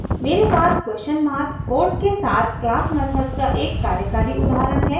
मेरे पास question mark code के साथ क्लास मेथड्स का एक कार्यकारी उदाहरण है